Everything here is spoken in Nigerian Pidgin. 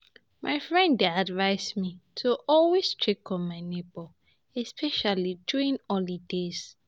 My friend dey advise me to always check on my neighbor, especially during holidays.